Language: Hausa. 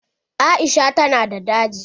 Aisha ta na da daji.